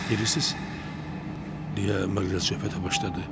Bilirsiz, deyə Maqrel söhbətə başladı.